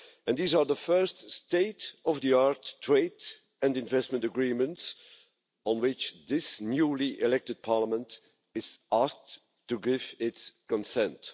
These are the first state-of-the art trade and investment agreements on which this newly elected Parliament is asked to give its consent.